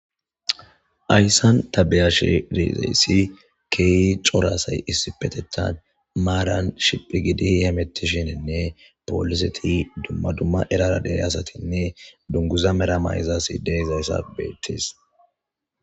Hayssan ta beyashirizayssi keey coraasay issi petetan maaran shiphi gidi hiyemettishinenne pooliseti dumma dumma erara dere asatinne dunguza mera mayzas ideyzayssa beettis.